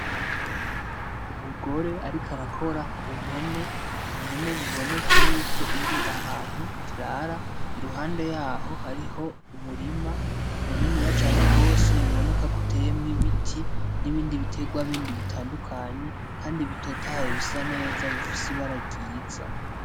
Umugore ariko arakora ku mpene biboneka yuko iri ahantu irara iruhande yaho hariho umurima muniniya cane gose biboneka ko uteyemwo ibiti n'ibindi biterwa bindi bitandukanye kandi bitotahaye bisa neza bifise ibara ryiza.